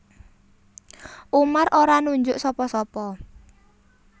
Umar ora nunjuk sapa sapa